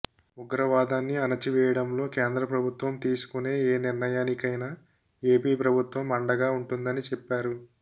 ఉగ్రవాదాన్ని అణచివేయడంలో కేంద్ర ప్రభుత్వం తీసుకునే ఏ నిర్ణయానికైనా ఏపీ ప్రభుత్వం అండగా ఉంటుందని చెప్పారు